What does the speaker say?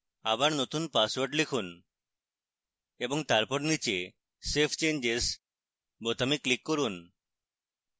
আবার নতুন পাসওয়ার্ড লিখুন এবং তারপর নীচে save changes বোতামে click করুন